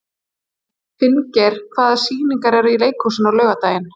Finngeir, hvaða sýningar eru í leikhúsinu á laugardaginn?